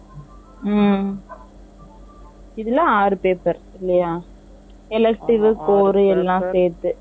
ம்ம் ம்ம் இதுல ஆறு paper இல்லையா elective , core எல்லாம் சேர்த்து